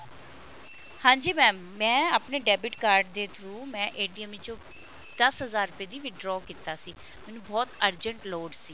ਹਾਂਜੀ mam ਮੈਂ ਆਪਣੇ debit card ਦੇ through ਮੈਂ ਵਿੱਚੋ ਦਸ ਹਜ਼ਾਰ ਰੁਪਏ ਦਾ withdraw ਕੀਤਾ ਸੀ ਮੈਨੂੰ ਬਹੁਤ urgent ਲੋੜ ਸੀ